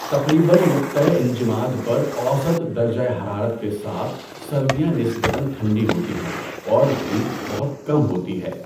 تقریباً نقطہ انجماد پر اوسط درجہ حرارت کے ساتھ سردیاں نسبتاً ٹھنڈی ہوتی ہیں اور دھوپ بہت کم ہوتی ہے۔